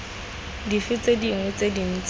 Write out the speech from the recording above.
dife tse dingwe tse dintsi